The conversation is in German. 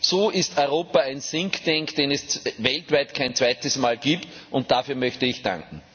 so ist Europa ein think tank den es weltweit kein zweites Mal gibt, und dafür möchte ich danken.